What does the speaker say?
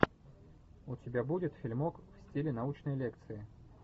у тебя будет фильмок в стиле научной лекции